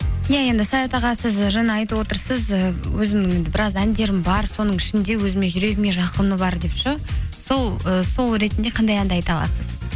иә енді саят аға сіз і жаңа айтып отырсыз і өзімнің енді біраз әндерім бар соның ішінде өзіме жүрегіме жақыны бар деп ше ііі сол ретінде қандай әнді айта аласыз